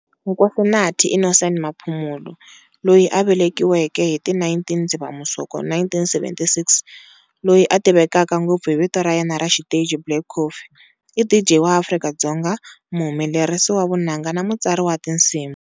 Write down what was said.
Nkosinathi Innocent Maphumulo loyi a velekiweke hi ti 19 Dzivamisoko 1976, loyi a tivekaka ngopfu hi vito ra yena ra xiteji Black Coffee, i DJ wa Afrika-Dzonga, muhumelerisi wa vunanga na mutsari wa tinsimu.